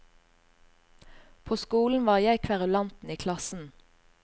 På skolen var jeg kverulanten i klassen.